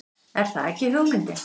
Er það ekki hugmyndin?